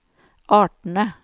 artene